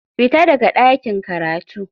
Fita daga ɗakin karatu.